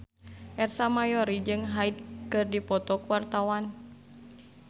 Ersa Mayori jeung Hyde keur dipoto ku wartawan